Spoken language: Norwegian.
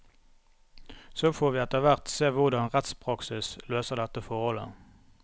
Så får vi etterhvert se hvordan rettspraksis løser dette forholdet.